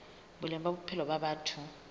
boleng ba bophelo ba batho